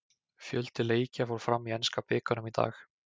Fjöldi leikja fór fram í enska bikarnum í dag.